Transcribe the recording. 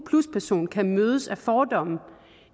person kan mødes af fordomme